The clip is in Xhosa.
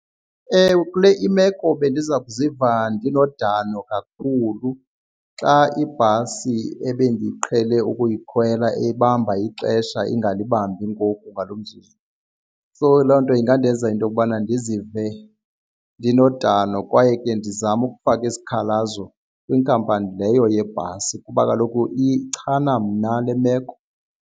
Ewe kule imeko bendiza kuziva ndinodano kakhulu xa ibhasi ebendiqhele ukuyikhwela ebamba ixesha ingalibambi ngoku ngalo mzuzu. So loo nto ingandenza into yokubana ndizive ndinodano kwaye ke ndizame ukufaka isikhalazo kwinkampani leyo yebhasi kuba kaloku ichana mna le meko.